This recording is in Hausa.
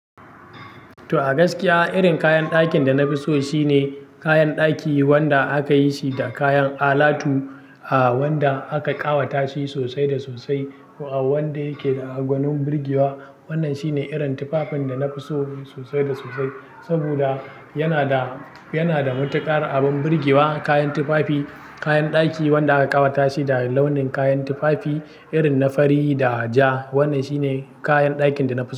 To a gaskiya, irin kayan da na fi so shine kayan daki wanda aka yi shi da kayan alatu, ah wanda aka ƙawata shi sosai da sosai, uwa wanda yake da agwanun birgewa. Wannan shine irin tufafin da na fi so sosai da sosai saboda yana da, yana da matuƙar abin birgewa. Kayan tufafi, kayan daki wanda aka ƙawata shi da launin kayan tufafi, irin na fari da ja. Wannan shine kayan dakin da na fi so.